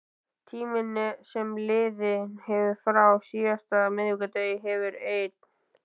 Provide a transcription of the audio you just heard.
Tíminn sem liðið hefur frá síðasta miðvikudegi hefur ein